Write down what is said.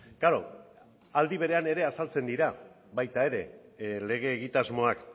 klaro aldi berean ere azaltzen dira baita ere lege egitasmoak